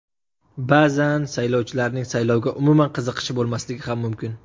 Ba’zan saylovchilarning saylovga umuman qiziqishi bo‘lmasligi ham mumkin.